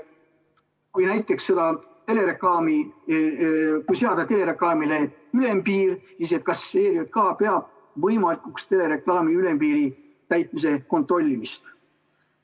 Kui näiteks seada telereklaamile ülempiir, siis kas ERJK peab võimalikuks telereklaami ülempiiri täitmise kontrollimist?